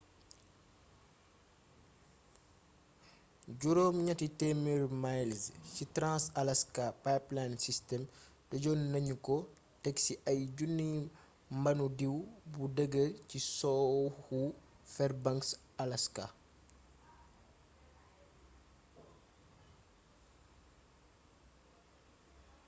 800 miles ci trans-alaska pipeline system tëjonnagnuko téksi ay junniy mbandu diw bu deegeer ci sowwu fairbanks alaska